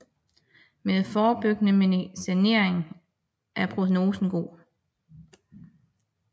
Med forebyggende medicinering er prognosen god